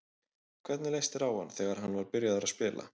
Hvernig leist þér á hann þegar hann var byrjaður að spila?